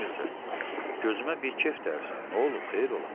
Ay Mirzə, gözümə bir kef dərsən, nə olub xeyir ola?